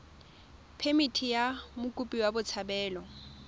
phemithi ya mokopi wa botshabelo